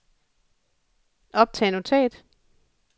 optag notat